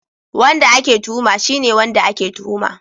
Wanda ake tuhuma shine wanda ake tuhuma